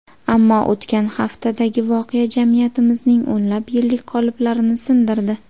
Ammo o‘tgan haftadagi voqea jamiyatimizning o‘nlab yillik qoliplarini sindirdi.